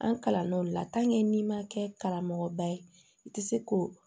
An kalann'o de la n'i ma kɛ karamɔgɔba ye i tɛ se k'o